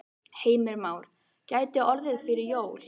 Heimir Már: Gæti orðið fyrir jól?